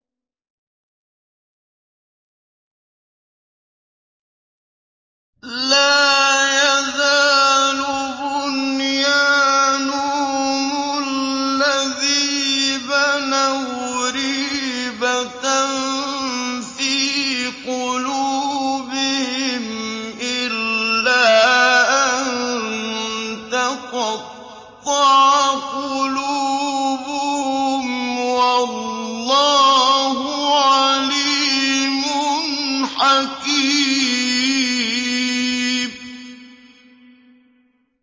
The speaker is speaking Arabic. لَا يَزَالُ بُنْيَانُهُمُ الَّذِي بَنَوْا رِيبَةً فِي قُلُوبِهِمْ إِلَّا أَن تَقَطَّعَ قُلُوبُهُمْ ۗ وَاللَّهُ عَلِيمٌ حَكِيمٌ